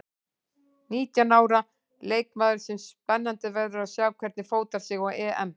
Nítján ára leikmaður sem spennandi verður að sjá hvernig fótar sig á EM.